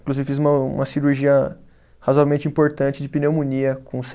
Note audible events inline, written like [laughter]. Inclusive fiz uma uma cirurgia razoavelmente importante de pneumonia com [unintelligible]